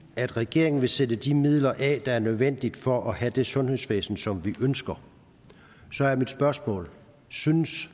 at regeringen vil sætte de midler af der er nødvendige for at have det sundhedsvæsen som vi ønsker så er mit spørgsmål synes